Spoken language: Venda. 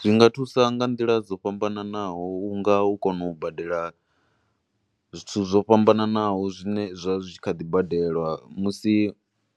Zwinga thusa nga nḓila dzo fhambanaho unga u kona u badela zwithu zwo fhambananaho zwine zwa zwi kha ḓi badelwa, musi